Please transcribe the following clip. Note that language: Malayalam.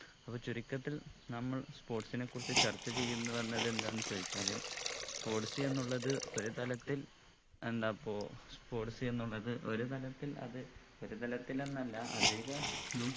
അപ്പൊ ചുരുക്കത്തിൽ നമ്മൾ sports നെ കുറിച്ച് ചർച്ച ചെയ്യുന്നു എന്നത് എന്താന്ന് ചോയ്ച്ചാല് sports എന്നുള്ളത് ഒരു തലത്തിൽ എന്താ ഇപ്പൊ sports എന്നുള്ളത് ഒരു തലത്തിൽ അത് ഒരു തലത്തിൽ എന്നല്ല അധികതും